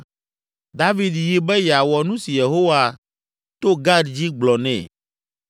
David yi be yeawɔ nu si Yehowa to Gad dzi gblɔ nɛ.